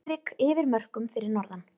Svifryk yfir mörkum fyrir norðan